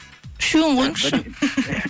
үшеуін қойыңызшы